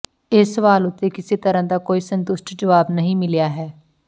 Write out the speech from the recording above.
ਇਸ ਸਵਾਲ ਉੱਤੇ ਕਿਸੇ ਤਰ੍ਹਾਂ ਦਾ ਕੋਈ ਸੰਤੁਸ਼ਟ ਜਵਾਬ ਨਹੀਂ ਮਿਲਿਆ ਹੈ